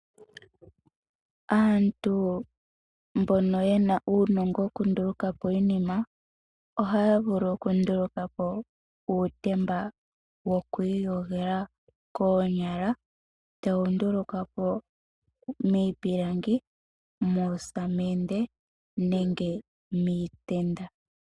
Aantu mbono yena uunongo woku ndulukapo iinima ohaya vulu oku ndulukapo uutemba wokwi yogela koonyala, tawu ndulukwapo miipilangi, moosamende nenge miitenda.